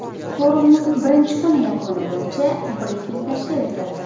Forumning birinchi kuni yakuni bo‘yicha brifing tashkil etildi.